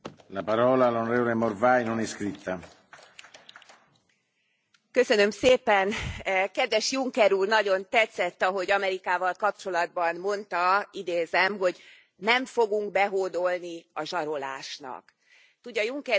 Elnök Úr, kedves Juncker Úr, nagyon tetszett, ahogy Amerikával kapcsolatban mondta idézem hogy nem fogunk behódolni a zsarolásnak. Tudja, Juncker úr, mi magyarok ugyanígy vagyunk ezzel az Európai Unióval kapcsolatban.